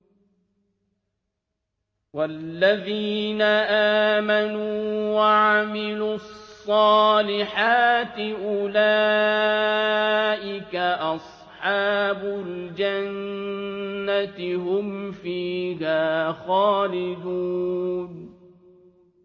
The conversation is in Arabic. وَالَّذِينَ آمَنُوا وَعَمِلُوا الصَّالِحَاتِ أُولَٰئِكَ أَصْحَابُ الْجَنَّةِ ۖ هُمْ فِيهَا خَالِدُونَ